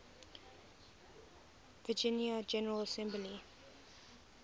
virginia general assembly